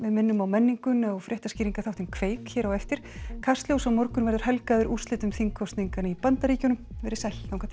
minnum á menninguna og fréttaskýringaþáttinn kveik hér á eftir kastljós á morgun verður helgað úrslitum þingkosninganna í Bandaríkjunum verið sæl þangað til